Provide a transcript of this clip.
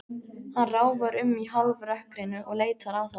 Hann ráfar um í hálfrökkrinu og leitar að honum.